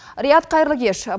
рият қайырлы кеш